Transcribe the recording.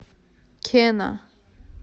кена